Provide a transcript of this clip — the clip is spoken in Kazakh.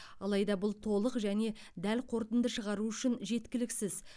алайда бұл толық және дәл қорытынды шығару үшін жеткіліксіз